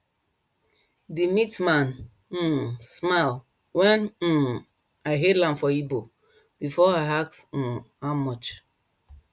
the meat man um smile when um i hail am for igbo before i ask um how much